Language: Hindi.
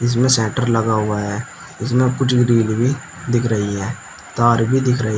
इसमें शटर लगा हुआ है इसमें कुछ ग्रिल भी दिख रही है तार भी दिख रही है।